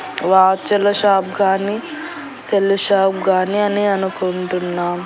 Watch ల shop గాని cell shop గాని అని అనుకుంటున్నామ్.